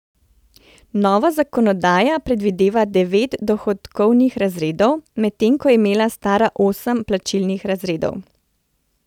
Nova zakonodaja predvideva devet dohodkovnih razredov, medtem ko je imela stara osem plačilnih razredov.